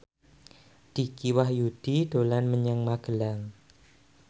Dicky Wahyudi dolan menyang Magelang